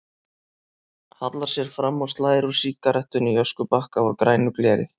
Hallar sér fram og slær úr sígarettunni í öskubakka úr grænu gleri.